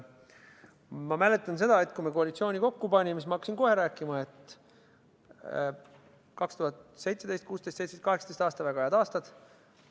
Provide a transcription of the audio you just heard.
Ma mäletan, et kui me koalitsiooni kokku panime, siis hakkasin ma kohe rääkima, et 2016, 2017 ja 2018 on väga head aastad.